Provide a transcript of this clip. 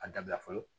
A dabila fɔlɔ